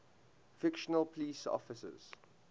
fictional police officers